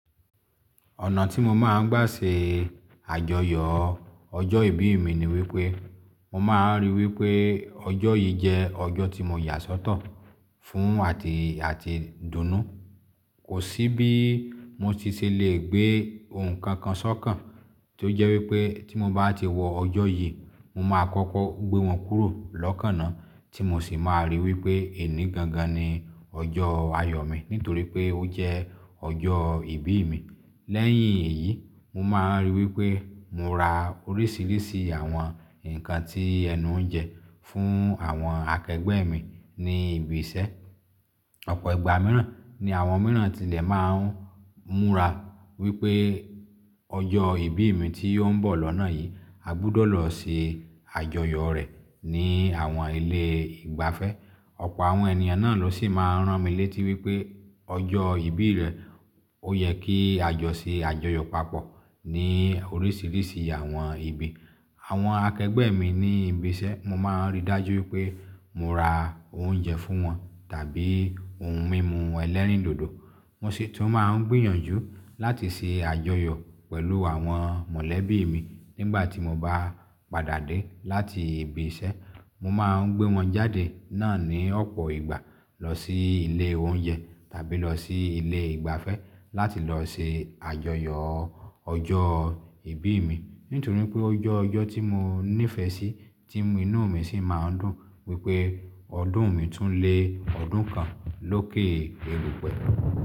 Ọ̀nà tí mo máa ń gbà ṣe àjọyọ̀ ọjọ́ ìbí mi ni wípé, mo máa ń rí wípé ọjọ́ yìí jẹ́ ọjọ́ tí mo yà sọ́tọ̀ fún àti, àti dùn nu. Kò sí bí mo ti ṣe lè gbé ohun kankan sọ́kàn tí ó jẹ́ wípé tí mo bá ti wọ ọjọ́ yìí, mo máa kọ́kọ́ gbé wọn kúrò lọ́kànná tí mo ṣì máa rí wípé èní gangan ni ọjọ́ ayọ̀ mi nítorí pé ó jẹ́ ọjọ́ ìbí mi. Lẹ́yìn èyí, mo máa ń rí wípé mo ra oríṣiríṣi àwọn nǹkan tí ẹnu ń jẹ fún àwọn akẹgbẹ́ mi ní ibi iṣẹ́. Ọ̀pọ̀ ìgbà mìíràn ni àwọn mìíràn tilẹ̀ máa ń múra wípé ọjọ́ ìbí mi tí ó ń bọ̀ lọ́nà yìí, a gbọdọ̀ lọ se àjọyọ̀ rẹ̀ ní àwọn ilé ìgbafẹ́. Ọ̀pọ̀ àwọn ènìyàn náà ló ṣì máa ń rán mi létí wípé ọjọ́ ìbí rẹ̀ ó yẹ kí a jọ ṣe àjọyọ̀ papọ̀ ní oríṣiríṣi àwọn ibi. Àwọn akẹgbẹ́ mi ní ibi iṣẹ́, mo máa ń rí dájú wípé mo ra oúnjẹ fún wọn tàbí ohun mímu ẹlẹ́rìndòdò. Mo sì tún máa ń gbìyànjú láti ṣe àjọyọ̀ pẹ̀lú àwọn mọ̀lẹ́bí mi nígbà tí mo bá padà dé láti ibi iṣẹ́. Mo máa ń gbé wọn jáde náà ní ọ̀pọ̀ ìgbà lọ sí ilé oúnjẹ tàbí lọ sí ilé ìgbafẹ́ láti lọ ṣe àjọyọ̀ ọjọ́ ìbí mi. Nítorí pé ó jẹ́ ọjọ́ tí mo nífẹ̀ẹ́ sí tí inú mi sì máa ń dùn wípé ọdún mi tún le ọdún kan lóke erùpẹ̀.